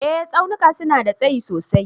Eh Tsaunuka suna da tsayi sosai.